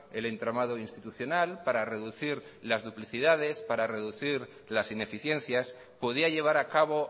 el entramado institucional para reducir las duplicidades para reducir las ineficiencias podía llevar a cabo